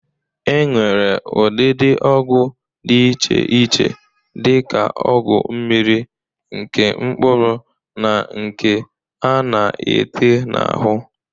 E nwere ụdịdị ọgwụ dị iche iche dị ka ọgwụ mmiri, nke mkpụrụ na nke a na-ete n'ahụ.